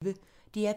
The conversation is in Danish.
DR P1